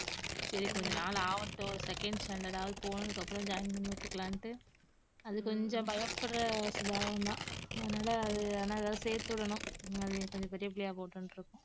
சரி கொஞ்ச நாள் ஆவட்டும் second standard ஆவது போனதுக்கு அப்புறம் join பண்ணிவிட்டுக்கலாம்னுட்டு அது கொஞ்சம் பயப்படற சுபாவம் தான் அதனால அத ஆனா சேர்த்து விடணும் அது கொஞ்சம் பெரிய பிள்ளையா போட்டும்னுருக்கோம்